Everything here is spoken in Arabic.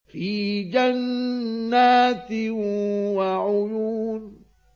فِي جَنَّاتٍ وَعُيُونٍ